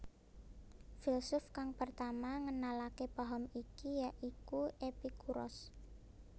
Filsuf kang pertama ngenalake paham iki ya iku Epikuros